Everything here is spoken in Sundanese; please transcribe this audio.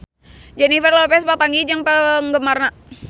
Jennifer Lopez papanggih jeung penggemarna